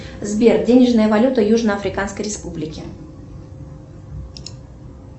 сбер денежная валюта южно африканской республики